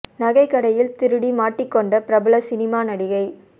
நகைக் கடையில் திருடி மாட்டிக் கொண்ட பிரபல சினிமா நடிகை